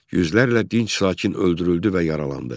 Yüzlərlə dinc sakin öldürüldü və yaralandı.